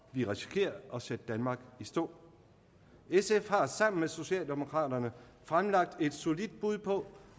vi risikerer at sætte danmark i stå sf har sammen med socialdemokraterne fremlagt et solidt bud på